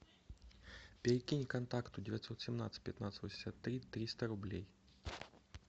перекинь контакту девятьсот семнадцать пятнадцать восемьдесят три триста рублей